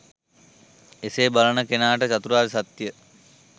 එලෙස බලන කෙනාට චතුරාර්ය සත්‍ය